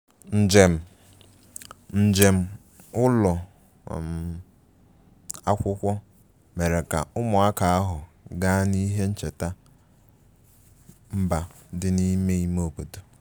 njem njem ụlọ um akwụkwọ mere ka ụmụaka ahụ gaa n'ihe ncheta mba dị n'ime ime obodo